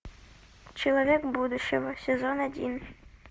человек будущего сезон один